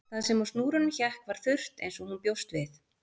Það sem á snúrunum hékk var þurrt eins og hún bjóst við